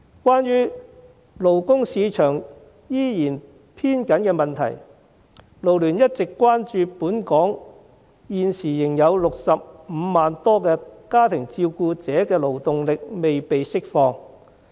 關於勞工市場依然偏緊的問題，勞聯一直關注本港現時仍有65萬多家庭照顧者的勞動力未被釋放。